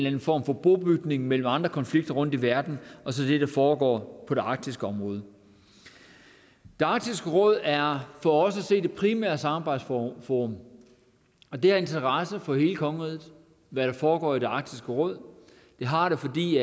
anden form for bobytning mellem andre konflikter rundt i verden og så det der foregår på det arktiske område arktisk råd er for os at se det primære samarbejdsforum og det har interesse for hele kongeriget hvad der foregår i arktisk råd det har det fordi